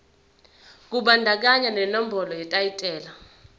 kubandakanya nenombolo yetayitela